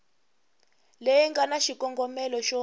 leyi nga na xikongomelo xo